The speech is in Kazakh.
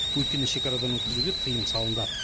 өйткені шекарадан өткізуге тыйым салынды